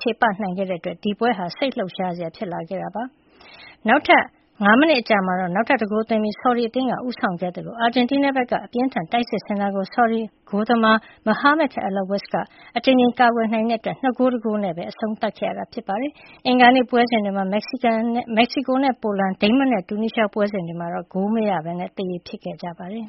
ချေပဂိုးသွင်းနိုင်ခဲ့တာကြောင့် ဒီပွဲဟာ စိတ်လှုပ်ရှားစရာ ဖြစ်လာခဲ့တာပါ။ နောက်ထပ် ၅ မိနစ် အကြာမှာ နောက်တဂိုး ထပ်သွင်းပြီး ဆော်ဒီအသင်းက ဦးဆောင်ခဲ့သလို၊ အာဂျင်တီးနားဘက်က အပြင်းအထန် တိုက်စစ်ဆင်တာကို ဆော်ဒီအာရေဗျ ဂိုးသမား Mohammed Alowais က အကြိမ်ကြိမ် ကာကွယ်နိုင်ခဲ့တာကြောင့် ၂ ဂိုး ၁ ဂိုးနဲ့ အဆုံးသတ်ခဲ့ပါတယ်။ အင်္ဂါနေ့ ပွဲစဉ်တွေထဲက မက္ကစီကိုနဲ့ ပိုလန်၊ ဒိန်းမတ်နဲ့ တူနီးရှား ပွဲစဉ်တွေမှာတော့ ဂိုးမရပဲ သရေဖြစ်ခဲ့ကြပါတယ်